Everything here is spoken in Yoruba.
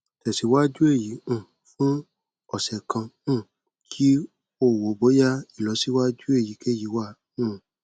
tẹsiwaju eyi um fun ọsẹ kan um ki o wo boya ilọsiwaju eyikeyi wa um